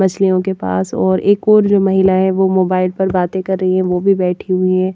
मछलियों के पास और एक और जो महिला है मोबाइल पर बातें कर रही है वो भी बैठी हुई है।